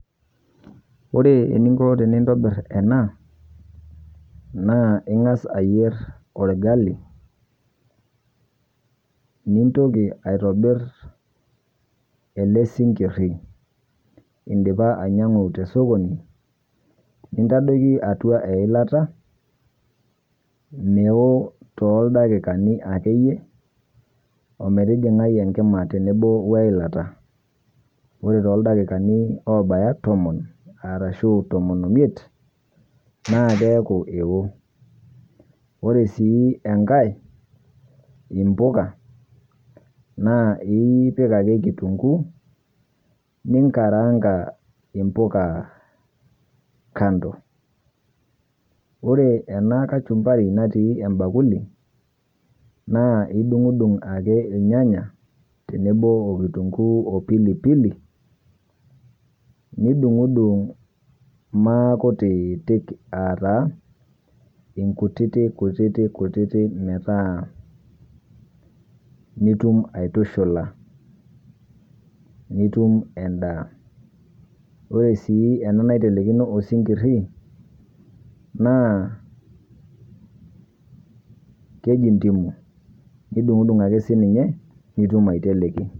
Ore ininko tiniitubiir ena naa ing'aas ayeer olgali, niintoki aitobiir ele siing'irii idiipa ainyauu to sokoni, nintaadoki atua ilaata meoo to ldakikani ake iiyie o meetijing'ai enkimaa teneboo o laata. Ore to ildaakikani obaaya toomon arashu tomoon oimiet naa keaaku eoo. Ore sii enkaai embukaa naa apiik ake kitunguu ning'araang'a embukaa kando. Ore ena kaachumbari natii embakuuli naa idung'dung' ake elnyanya teneboo okitunguu opilipili, nidung'dung' maa nkuutiti ata enkutiti nkutiti nkutiti meetaa nutuum aitushulaa nituum endaa. Ore sii ena neitelekino osing'ir na kejii ntimuu nidung'dung' ake sii ninyee nituum aiteleki.